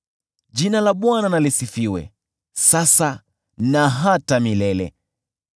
Jina la Bwana na lisifiwe, sasa na hata milele.